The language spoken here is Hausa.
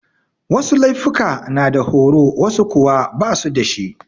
Wasu laifuka na da horo wasu kuwa basu dashi.